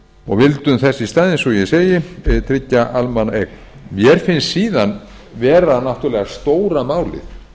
vildum þess í stað eins og ég segi tryggja almannaeign mér finnst síðan vera náttúrlega stóra málið